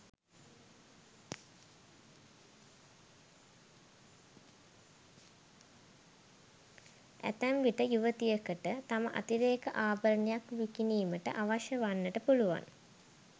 ඇතැම්විට යුවතියකට තම අතිරේක ආභරණයක් විකිණීමට අවශ්‍ය වන්නට පුළුවන්.